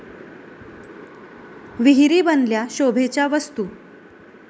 विहिरी बनल्या शोभेच्या वस्तू!